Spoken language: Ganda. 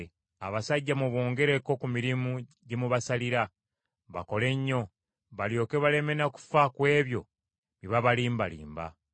Abasajja mubongereko ku mirimu gye mubasalira, bakole nnyo, balyoke baleme na kufa ku ebyo bye babalimbalimba.”